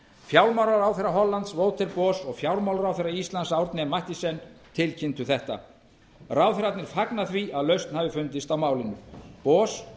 fjármálaráðherra hollands waterboot og fjármálaráðherra íslands árni m mathiesen tilkynntu þetta ráðherrarnir fagna því að lausn hafi fundist á málinu boði